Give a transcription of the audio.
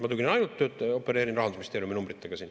Ma opereerin ainult Rahandusministeeriumi numbritega.